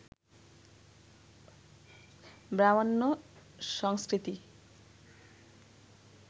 ব্রাহ্মণ্য সংস্কৃতি